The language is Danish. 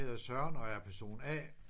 Jeg hedder Søren og er person A